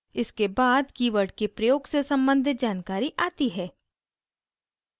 इसके बाद कीवर्ड के प्रयोग से सम्बंधित जानकारी आती है